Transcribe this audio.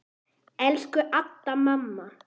Elsku Adda, mamma.